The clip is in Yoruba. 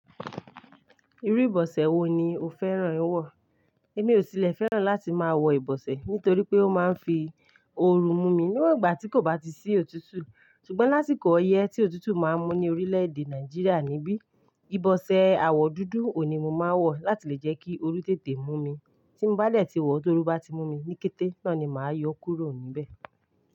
Irú ìbọsẹ̀ wo ni o fẹ́ràn wọ̀? Èmi ò sì llfè fẹ́ràn láti máa wọ ìbọsẹ̀ nítorí pé ó máa ń fi ooru mú mi níwògbà tí kò bá ti sí òtútù. Ṣùgbọ́n lásìkò ọyẹ́ tí òtútù máa ń mú ní orílẹ̀-èdè Nàìjíríà nibi, ìbọsẹ̀ àwọ̀ dúdú òun ní mo máa ń wọ̀ láti lè jẹ́ kí orú tètè mú mi. Tí mo bá dẹ̀ ti wọ̀ tó ru bá ti mú mi ní kété, náà ni màá yọ ó kúrò níbẹ̀.